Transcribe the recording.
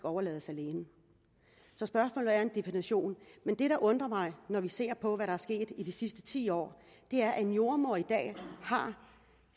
overlades alene så spørgsmålet er definitionen men det der undrer mig når vi ser på hvad der er sket i de sidste ti år er at en jordemoder i dag har